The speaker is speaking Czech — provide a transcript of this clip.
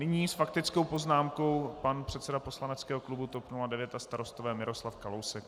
Nyní s faktickou poznámkou pan předseda poslaneckého klubu TOP 09 a Starostové Miroslav Kalousek.